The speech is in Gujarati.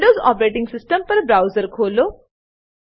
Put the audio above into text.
વિન્ડોવ્ઝ ઓપરેટીંગ સીસ્ટમ પર બ્રાઉઝર ખોલો